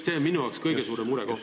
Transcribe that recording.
See on minu jaoks kõige suurem murekoht.